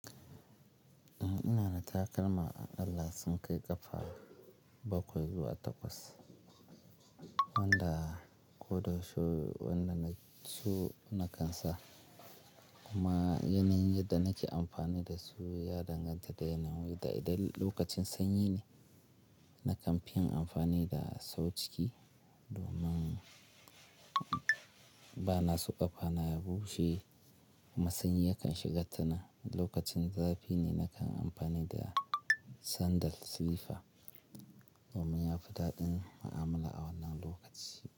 Eh ina da takalma akala sun kai ƙafa bakwai zuwa takwas wanda ko da shuu wadnan na ke so na kan sa kuma yanayin yadda nake amfani da su ya danganta da yanayi da idan lokacin sanyi ne nakan fi yin amfani da sau ciki domin ba na so ƙafana ya bushe. Kuma sanyi yakan shiga tanan. Lokacin zafi ne nakan amfani da sandal silifa domin yafi daɗin mu'amala a wannan lokaci.